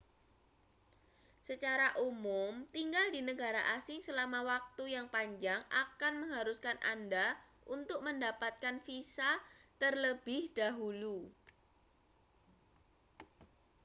secara umum tinggal di negara asing selama waktu yang panjang akan mengharuskan anda untuk mendapatkan visa terlebih dahulu